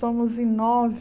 Somos em nove